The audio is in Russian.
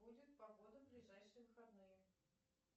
будет погода в ближайшие выходные